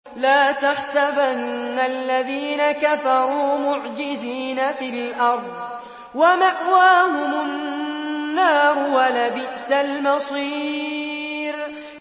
لَا تَحْسَبَنَّ الَّذِينَ كَفَرُوا مُعْجِزِينَ فِي الْأَرْضِ ۚ وَمَأْوَاهُمُ النَّارُ ۖ وَلَبِئْسَ الْمَصِيرُ